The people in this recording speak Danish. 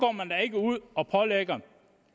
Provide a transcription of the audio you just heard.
går ud og pålægger